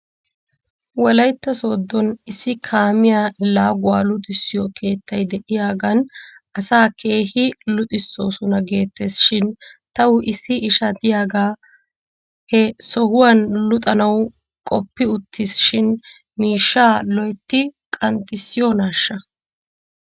Wolaytta Sooddon issi kaamiyaa laaguwaa luxissiyoo keettay de'iyaagan asaa keehi luxisoosona geettes shin taw issi isha diyaagee he sohuwan luxanaw qoppi wottis shin miishshaa loytti qanxxissiyoonaashsha?